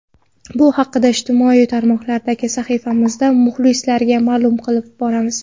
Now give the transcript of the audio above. Bu haqda ijtimoiy tarmoqlardagi sahifalarimizda muxlislarga ma’lum qilib boramiz.